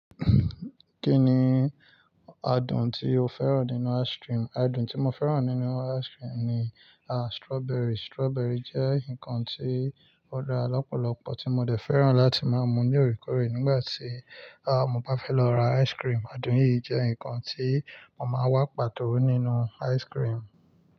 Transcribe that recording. Kí ni adùn tí o fẹ́ràn nínú ice cream? Adùn tí mo fẹ́ràn nínú ice cream ni strawberry. Strawberry jẹ́ nǹkan tí ó dá lọ́pọ̀lọ́pọ̀ tí mo dẹ̀ fẹ́ràn láti má mú ní òrékóòrè nígbàtí mo bá fẹ́ lọ ra ice cream. Adùn yìí jẹ́ nǹkan tí mo máa wá pàtó nínú ice cream.